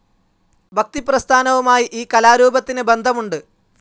ഭക്തിപ്രസ്ഥാനവുമായി ഈ കലാരൂപത്തിന് ബന്ധമുണ്ട്.